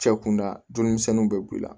Cɛ kunda dumuni bɛ b'i la